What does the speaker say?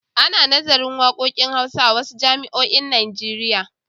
Ana nazarin waƙoƙin hausa a wasu jami'oin Najeriya.